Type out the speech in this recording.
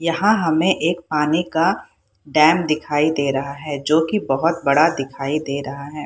यहां हमें एक पानी का डैम दिखाई दे रहा है जो की बहुत बड़ा है दिखाई दे रहा है।